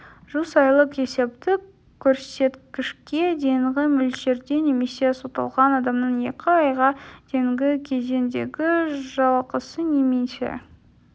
жүз айлық есептік көрсеткішке дейінгі мөлшерде немесе сотталған адамның екі айға дейінгі кезеңдегі жалақысы немесе